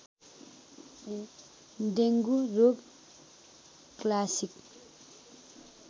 dengue रोग classic